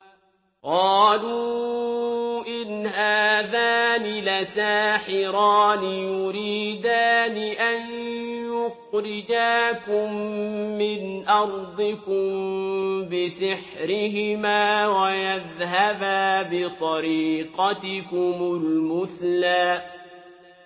قَالُوا إِنْ هَٰذَانِ لَسَاحِرَانِ يُرِيدَانِ أَن يُخْرِجَاكُم مِّنْ أَرْضِكُم بِسِحْرِهِمَا وَيَذْهَبَا بِطَرِيقَتِكُمُ الْمُثْلَىٰ